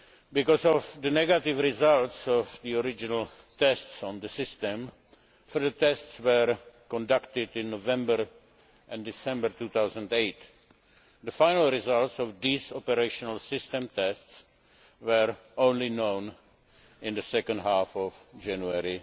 Because of the negative results of the original tests on the system, further tests were conducted in November and December 2008. The final results of these operational system tests were only known in the second half of January